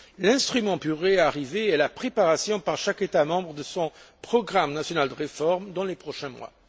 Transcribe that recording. L'instrument pour y parvenir est la préparation, par chaque État membre, de son programme national de réforme dans les prochains mois.